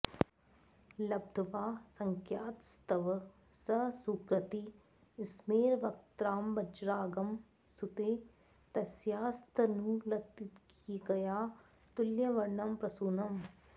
लब्ध्वा सख्यास्तव स सुकृती स्मेरवक्त्राब्जरागं सूते तस्यास्तनुलतिकया तुल्यवर्णं प्रसूनम्